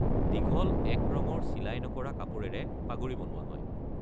দীঘল এক ৰঙৰ চিলাই নকৰা কাপোৰেৰে পাগুৰি বনোৱা হয়।